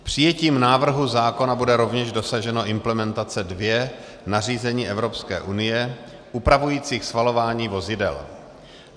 Přijetím návrhu zákona bude rovněž dosaženo implementace dvě nařízení Evropské unie upravující schvalování vozidel.